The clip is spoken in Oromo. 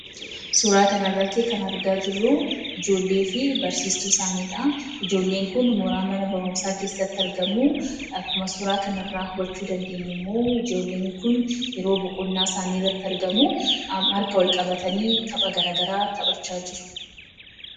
Suuraa kana irratti kan argamu ijoollee fi barsiistuu isaanii isaan gidduu dhaabbatuu dha kan argamu. Akkuma suuraa kana irratti argamu immoo ijoolleen kun yeroo boqonnaa issanii irratti kan argamanii dha. Akkasumas harka Wal qabatanii taphachuu irratti argamu.